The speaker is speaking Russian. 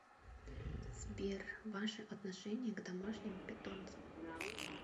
сбер ваше отношение к домашним питомцам